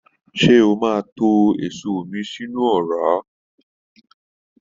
Se o o máa tó èso mii sínú ọra?